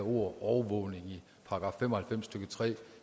overvågning i § fem og halvfems stykke tre